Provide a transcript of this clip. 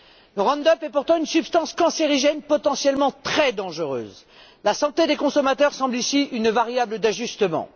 Le Roundup est pourtant une substance cancérigène potentiellement très dangereuse. La santé des consommateurs semble ici une variable d'ajustement.